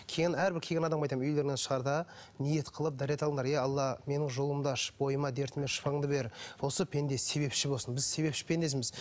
келген әрбір келген адамға айтамын үйлеріңнен шығарда ниет қылып дәрет алыңдар иә алла менің жолымды ашып бойыма дертіме шифаңды бер осы пенде себепші болсын біз себепші пендесіміз